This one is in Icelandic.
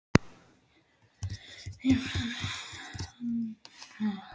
Enginn þessara ráðherra virðist hafa munað eftir byggingamáli háskólans.